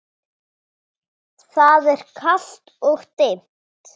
Og hvaða bók lesið þið?